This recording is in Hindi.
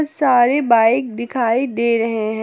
सॉरी बाइक दिखाई दे रहे हैं।